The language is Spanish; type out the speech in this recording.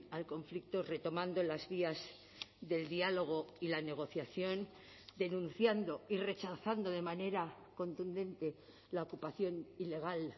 al conflicto retomando las vías del diálogo y la negociación denunciando y rechazando de manera contundente la ocupación ilegal